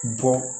Bɔ